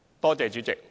多謝代理主席。